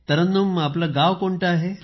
तरन्नुम आपले गाव कोणते आहे